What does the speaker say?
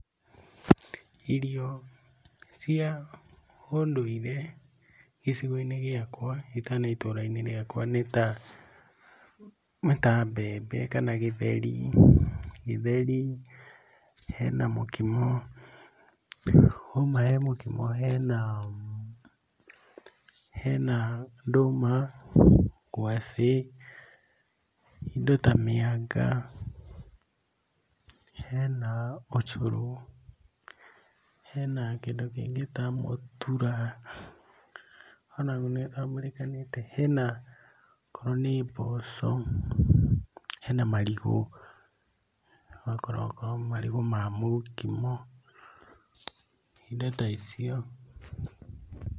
Irio cia ũndũire gĩcigo-inĩ gĩakwa kana itũra-inĩ rĩakwa nĩ ta, nĩ ta mbembe kana gĩtheri, gĩtheri, hena mũkimo, wauma he mũkimo henaa hena ndũma, ngwacĩ, indo ta mĩanga, hena ũcũrũ, hena kĩndũ kĩngĩ ta mũtura onaguo nĩũtambũrĩkanĩte, hena okorwo nĩ mboco, hena marigũ, okorwo okorwo marigũ ma mũkimo, indo ta icio.